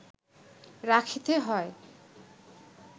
রাখিতে হয়